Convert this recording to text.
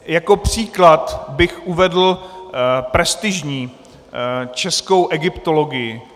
Jako příklad bych uvedl prestižní českou egyptologii.